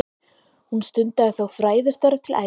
Hún stundaði þó fræðistörf til æviloka.